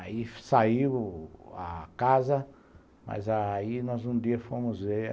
Aí saiu a casa, mas aí nós um dia fomos ver.